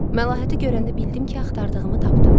Məlahəti görəndə bildim ki, axtardığımı tapdım.